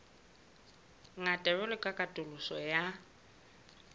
ngata jwalo ka katoloso ya